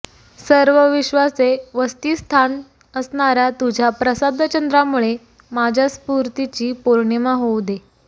सर्व विश्वाचे वसतीस्थान असणाऱ्या तुझ्या प्रसादचंद्रामुळे माझ्या स्फूर्तीची पौर्णिमा होऊ दे